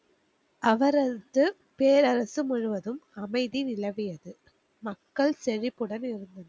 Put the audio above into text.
அவரது பேரரசு முழுவதும் அமைதி நிலவியது. மக்கள் செழிப்புடன் இருந்தனர்.